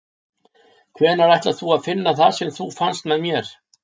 Hvenær ætlar þú að finna það sem þú fannst með mér?